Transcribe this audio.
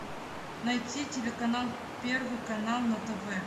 найти телеканал первый канал на тв